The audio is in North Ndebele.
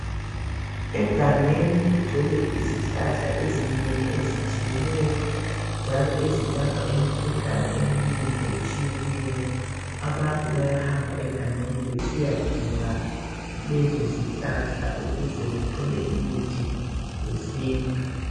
Egangeni kugcwele izihlahla ezinengi ezitshiyeneyo, njalo ezelapha imikhuhlane eminengi etshiyeneyo. Abantu bayahamba egangeni besiyadinga lezi zihlahla ukuze bethole imithi yesintu.